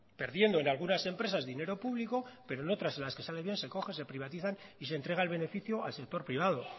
perdiendo en algunas empresas dinero público pero en otras en las que sale bien se coge se privatizan y se entrega el beneficio al sector privado